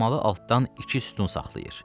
Hammalı altdan iki sütun saxlayır.